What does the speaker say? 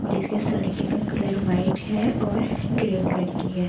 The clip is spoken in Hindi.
और इसके सड़के का कलर वाइट है और ग्रे कलर की है ।